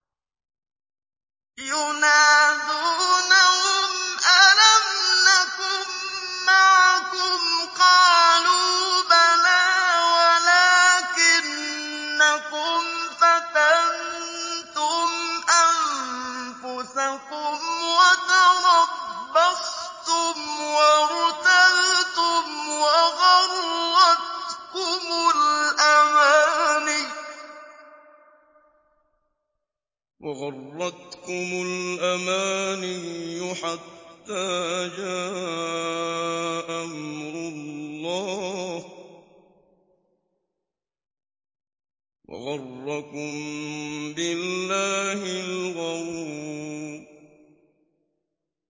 يُنَادُونَهُمْ أَلَمْ نَكُن مَّعَكُمْ ۖ قَالُوا بَلَىٰ وَلَٰكِنَّكُمْ فَتَنتُمْ أَنفُسَكُمْ وَتَرَبَّصْتُمْ وَارْتَبْتُمْ وَغَرَّتْكُمُ الْأَمَانِيُّ حَتَّىٰ جَاءَ أَمْرُ اللَّهِ وَغَرَّكُم بِاللَّهِ الْغَرُورُ